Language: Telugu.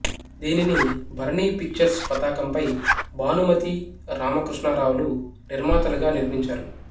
దీనిని భరణీ పిక్చర్స్ పతాకంపై భానుమతీ రామకృష్ణారావులు నిర్మాతలుగా నిర్మించారు